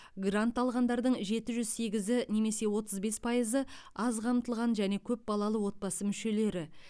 грант алғандардың жеті жүз сегізі немесе отыз бес пайызы аз қамтылған және көп балалы отбасы мүшелері